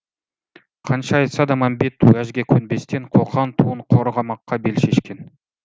қанша айтса да мәмбет уәжге көнбестен қоқан туын қорғамаққа бел шешкен